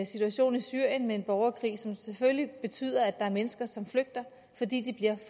situation i syrien med en borgerkrig som selvfølgelig betyder at der er mennesker som flygter fordi de bliver